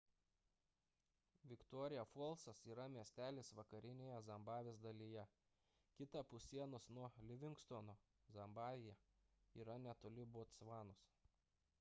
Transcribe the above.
viktoria folsas yra miestelis vakarinėje zimbabvės dalyje kitapus sienos nuo livingstono zambija ir netoli botsvanos